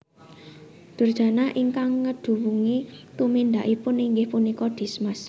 Durjana ingkang ngeduwungi tumindakipun inggih punika Dismas